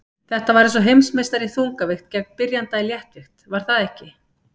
Þetta var eins og heimsmeistari í þungavigt gegn byrjanda í léttvigt var það ekki?